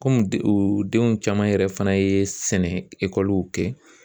Kɔmi denw caman yɛrɛ fana ye sɛnɛ ekɔliw kɛ.